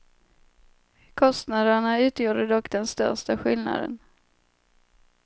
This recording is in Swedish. Kostnaderna utgjorde dock den största skillnaden.